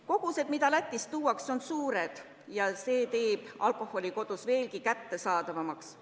Kogused, mis Lätist tuuakse, on suured ja see teeb alkoholi kodus veelgi kättesaadavamaks.